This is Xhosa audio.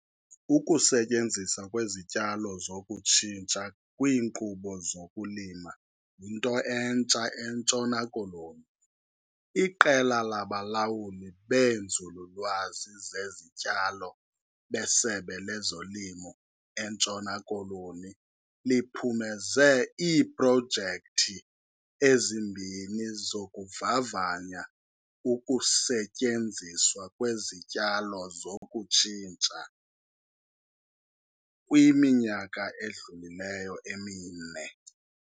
Ukusetyenziswa kwezityalo zokutshintsha kwiinkqubo zokulima yinto entsha eNtshona Koloni. IQela labalawuli beeNzululwazi zeziTyalo beSebe lezoLimo eNtshona Koloni liphumeze iiprojekthi ezimbini zokuvavanya ukusetyenziswa kwezityalo zokutshintsha kwiminyaka edlulileyo emine.